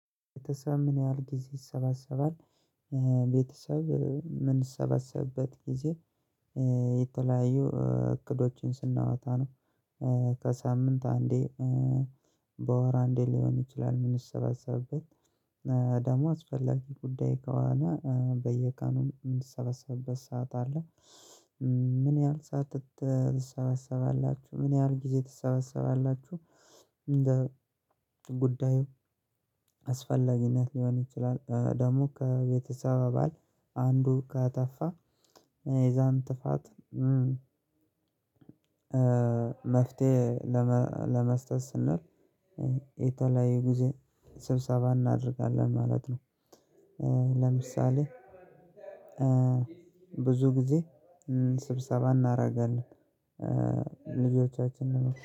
ቤተሰብ ምን ያህል ጊዜ ይሰባሰባል? ቤተሰብ የምንሰባሰብበት ጊዜ የተለያዩ እቅዶችን ስናወጣ ነው። ከሳምንት አንዴ በወር አንዴ ሊሆን ይችላል። ምንሰባሰብበት ደግሞ አስፈላጊ ጉዳይ ከሆነ በየቀኑ ምንሰበሰብበት ሰዓት አለ። ምን ያህል ሰዓት ትሰበሰባላችሁ ምን ያህል ጊዜ ትሰበሰባላችሁ? እንደ ጉዳዩ አስፈላጊነት ሊሆን ይችላል ደግሞ ከቤተሰብ አባል አንዱ ካጠፋ የዛን ጥፋት። መፍትሄ ለመስጠት ስንል የተለያዩ ጊዜ ስብሰባ እናደርጋለን ማለት ነው። ለምሳሌ ብዙ ጊዜ ስብሰባ እናደርጋለን። ልጆቻችንን